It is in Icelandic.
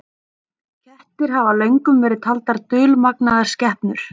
Kettir hafa löngum verið taldar dulmagnaðar skepnur.